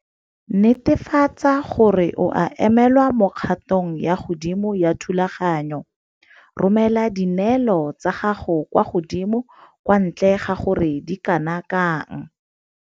Netefatsa gore o a emelwa mo kgatong ya godimo ya thulaganyo. Romela dineelo tsa gago kwa godimo kwa ntle ga gore di kana kang.